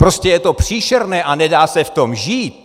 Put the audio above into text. Prostě je to příšerné a nedá se v tom žít!"